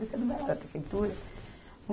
Você não vai lá na prefeitura?